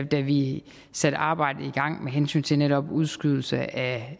da vi satte arbejdet i gang med hensyn til netop udskydelse af